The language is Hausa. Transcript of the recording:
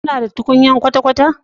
Kuna da tukunya kwata-kwata?